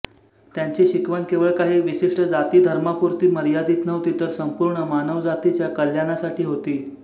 त्यांची शिकवण केवळ काही विशिष्ट जातीधर्मापुरती मर्यादित नव्हती तर संपूर्ण मानव जातीच्या कल्याणासाठी होती